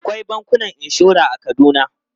Akwai bankunan inshora a Kaduna.